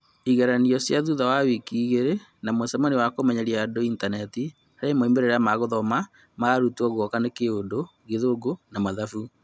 Igeranio cia thutha wa wiki igĩrĩ na mĩcemanio ya kũmenyeria andũ intaneti harĩ moimĩrĩra ma guthoma ma arutwo guoka nĩ Kĩundũ, Gĩthũngũ na Mathabu.